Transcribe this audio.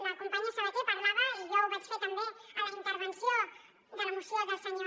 la companya sabater en parlava i jo ho vaig fer també a la intervenció de la moció del senyor